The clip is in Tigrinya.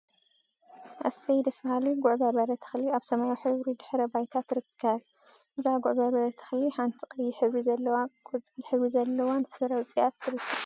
እሰይ ደስ በሃሊ ጉዕ በርበረ ተክሊ አብ ሰማያዊ ሕብሪ ድሕረ ባይታ ትርከብ፡፡ እዛ ጉዕ በርበረ ተክሊ ሓንቲ ቀይሕ ሕብሪ ዘለዋን ቆፃል ሕብሪ ዘለዋን ፍረ አውፂአ ትርከብ፡፡